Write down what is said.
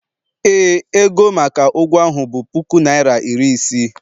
ee, ego maka ụgwọ ahụ bụ puku naịra iri isii